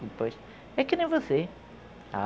Depois... é que nem você.